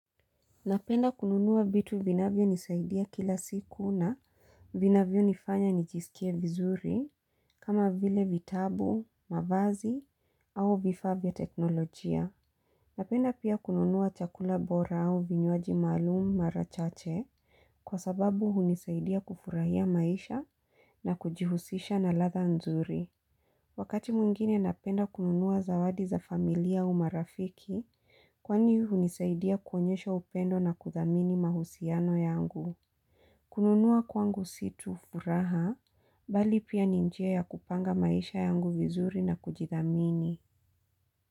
Napenda kununua vitu vinavyo nisaidia kila siku na vinavyo nifanya nijisikie vizuri kama vile vitabu, mavazi au vifaa vya teknolojia. Napenda pia kununua chakula bora au vinywaji maalumu mara chache kwa sababu hunisaidia kufurahia maisha na kujihusisha na ladha nzuri. Wakati mwingine napenda kununua zawadi za familia au marafiki, kwani hunisaidia kuonyesha upendo na kuthamini mahusiano yangu. Kununua kwangu si tu furaha, bali pia ni njia ya kupanga maisha yangu vizuri na kujithamini.